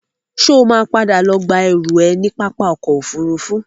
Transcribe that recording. Ṣo ma padà lọ gba ẹrú ẹ ní pápá ọkọ̀ Òfurufú?